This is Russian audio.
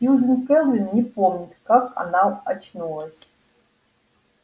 сьюзен кэлвин не помнит как она очнулась